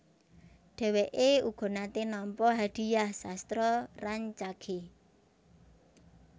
Dheweke uga nate nampa Hadhiah Sastra Rancage